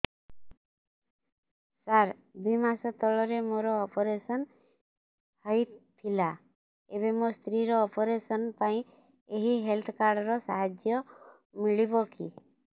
ସାର ଦୁଇ ମାସ ତଳରେ ମୋର ଅପେରସନ ହୈ ଥିଲା ଏବେ ମୋ ସ୍ତ୍ରୀ ର ଅପେରସନ ପାଇଁ ଏହି ହେଲ୍ଥ କାର୍ଡ ର ସାହାଯ୍ୟ ମିଳିବ କି